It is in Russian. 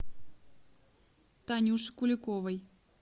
танюши куликовой